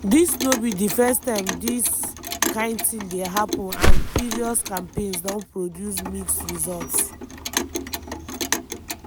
dis no be di first time dis kain tin dey happun and previous campaigns don produce mixed results.